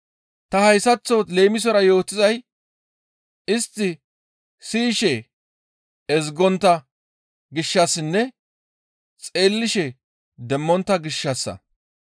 Ta hayssaththo leemisora yootizay istti siyishe ezgontta gishshassinne xeellishe demmontta gishshassa.